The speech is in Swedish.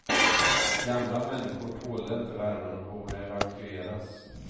Gamla människor tålde inte värmen och borde evakueras.